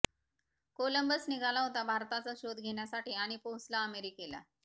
Columbus निघाला होता भारताचा शोध घेण्यासाठी आणि पोहोचला अमेरिकेला